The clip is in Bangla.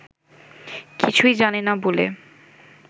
কিছু্ই জানে না বলে